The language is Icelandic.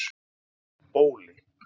Bóli